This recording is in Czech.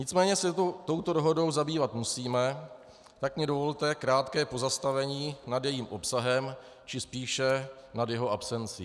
Nicméně se touto dohodou zabývat musíme, tak mně dovolte krátké pozastavení nad jejím obsahem, či spíše nad jeho absencí.